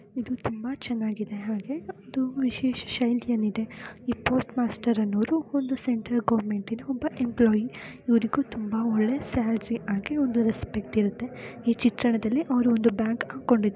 ಇದು ತುಂಬಾ ಚೆನ್ನಾಗಿದೆ ಹಾಗೆ ಇದು ವಿಶೇಷ ಶೈಲಿಯಲ್ಲಿ ಇದೆ. ಈ ಪೋಸ್ಟ್ ಮಾಸ್ಟರ್ ಅನ್ನೋರು ಒಂದು ಸೆಂಟ್ರಲ್ ಗೋವೆರ್ನ್ಮೆಂಟ್ನ ಒಬ್ಬ ಎಂಪ್ಲೋಯೀ ಇವರಿಗೂ ತುಂಬಾ ಒಳ್ಳೆ ಸ್ಯಾಲರಿ ಆಗಿ ಒಂದು ರೆಸ್ಪೆಕ್ಟ್ ಇರುತ್ತೆ. ಈ ಚಿತ್ರಣದಲ್ಲಿ ಅವರು ಒಂದು ಬ್ಯಾಗ್ ಹಾಕೊಂಡಿದ್ದಾರೆ.